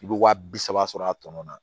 I bɛ waa bi saba sɔrɔ a tɔnɔ na